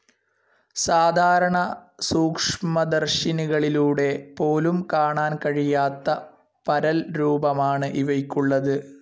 സാധാരണ സൂക്ഷ്മദർശിനികളിലൂടെ പോലും കാണാൻ കഴിയാത്ത പരൽരൂപമാണ് ഇവയ്ക്കുള്ളത്.